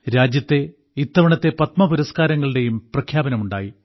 രാജ്യത്തെ ഇത്തവണത്തെ പത്മപുരസ്കാരങ്ങളുടെയും പ്രഖ്യാപനമുണ്ടായി